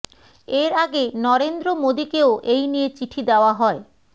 এর আগে নরেন্দ্র মোদীকেও এই নিয়ে চিঠি দেওয়া হয়